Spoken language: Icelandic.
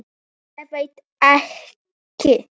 Ég veit ekki?